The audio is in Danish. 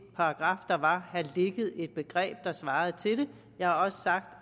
paragraf der var have ligget et begreb der svarede til det jeg har også sagt